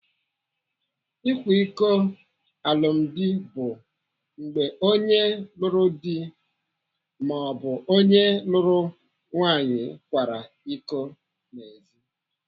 Ịkwa iko alụmdi bụ mgbe onye lụrụ di maọbụ onye lụrụ nwaanyị kwara iko n'ezi.